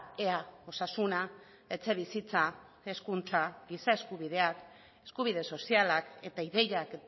ea osasuna etxebizitza hezkuntza giza eskubideak eskubide sozialak eta ideiak